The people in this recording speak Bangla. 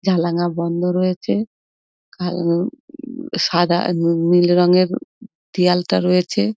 জানালা বন্ধ রয়েছে কালো উম সাদা নীল রঙের দেওয়ালটা রয়েছে।